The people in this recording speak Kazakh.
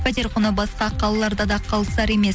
пәтер құны басқа қалаларда да қалысар емес